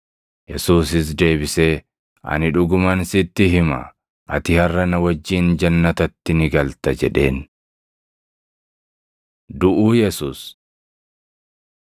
Yesuusis deebisee, “Ani dhuguman sitti hima; ati harʼa na wajjin jannatatti ni galta” jedheen. Duʼuu Yesuus 23:44‑49 kwf – Mat 27:45‑56; Mar 15:33‑41